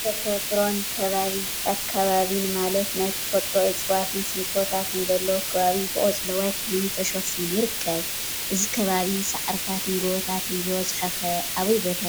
ተፈጥሮን አከባቢን ማለት ናይ ተፈጥሮ እፅዋትን ሽንጥሮታትን ዘለዎ አከባቢ ብቆፅለዋይ ሕብሪ ተሸፊኑ ይርከብ፡፡ እዚ ከባቢ ሳዕሪታትን ጎቦታትን ዝበዝሖ ኸ አበይ ቦታ ይርከብ?